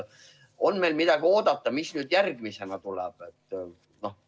On meil midagi oodata, mis järgmisena tuleb?